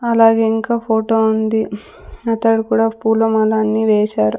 అలాగే ఇంకా ఫోటో ఉంది అతడు కూడా పూలమాల అన్ని వేశారు.